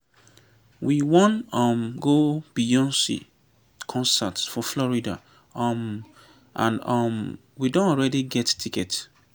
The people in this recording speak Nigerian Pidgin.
we wan um go beyonce concert for florida um and um we don already get ticket